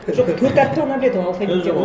жоқ төрт әріпті ғана біледі ғой алфавиттен